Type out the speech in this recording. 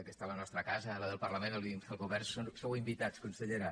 aquesta és la nostra casa la del parlament el govern hi sou invitats consellera